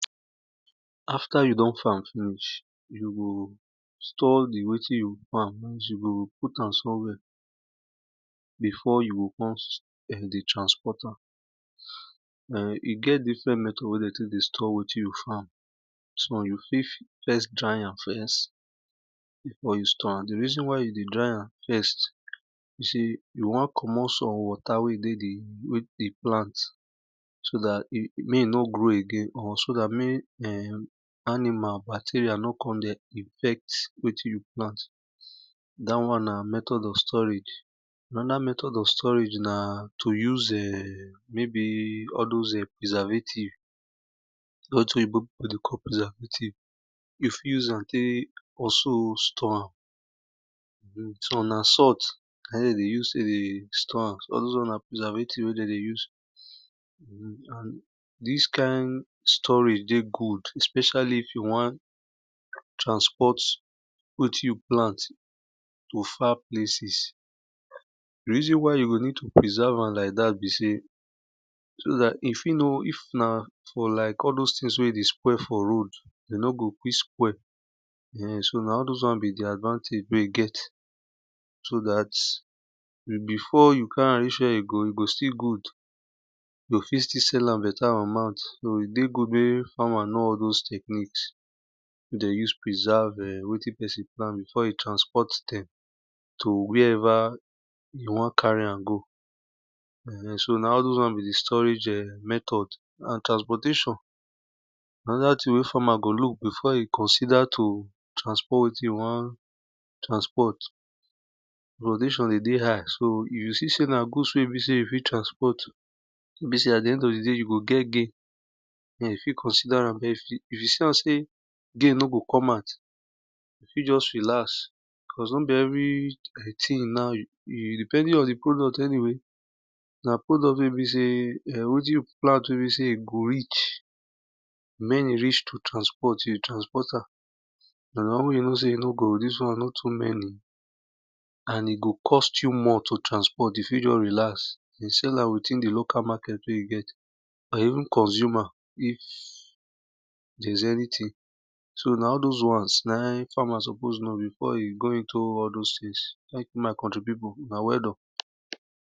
After you don farm finish, you go store wetin you don farm, you o put am somewhere befor you kon dey transoport am. Den e get different method wey de tek dey store wetin you don farm, you fit dry am first reason why yo dey dry am na you won comomot water wey dey di plant so dat may e nor grow again or so dat mek animal bacterial no kon perch wetin you you plant dat won na method of storage. Anoda method of storage na to use maybe all those preservative wetin oyibo pipu dey call preservative, you fit use am also store some na salt na in de dey use tek dey store am all those won na preservative na in de dey use. Dis kind storage dey good especially if you wan transport wetin you plant to far places. Di reason why you go need to prserve am like dat be sey so dat if na like all those thinfgfs wey dey spoil for road, e no go quick spoil so na all those wans be di advantagewey you get so dat before you carry am reach here e go still good e go fit still sell am beta amount so e dey good mek farmer know all those tecniques wey den use preserve wetin pesinplant before e transport dem to where ever you wan carry am go so na all those wan be di storage method,. So na transportation na in those farmer dey look before e won transport e wan transport. E dey dey high so if e see sey na goods wey you wan transport, de fit consider ram if you see am sey there nor go come out, you fit just relax cause no beevery thing na you e depending on di product anyway thre are product wey be sey e go reach wen e reach to transport, you transport am but wen e reason sey dis wan no too many and e go cost you well to transport, you fit just relax dey sell am within di local market wey you get and even consumer so na all those wans na in farmer suppose know before e go into all those things. My country pipu una well done.